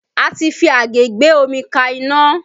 A ti fi àgé gbé omi ka iná